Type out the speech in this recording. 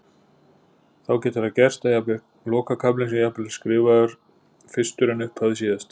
Þá getur það gerst að lokakaflinn sé jafnvel skrifaður fyrstur en upphafið síðast.